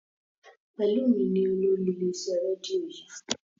Pelumi ní olórí ilé iṣẹ rédíò yii.